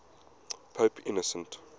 pope innocent